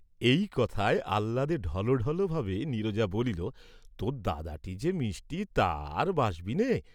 এই কথায় আহ্লাদে ঢলঢল ভাবে নীরজা বলিল, "তোর দাদাটি যে মিষ্টি, তা আর বাস্‌বিনে।"